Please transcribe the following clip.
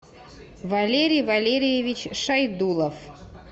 валерий валерьевич шайдулов